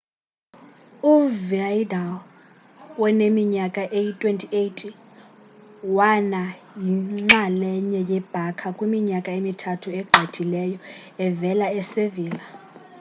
uvidal woneminyaka eyi-28 wana yinxalenye ye-barca kwiminyaka emithathu egqithileyo evela e-sevilla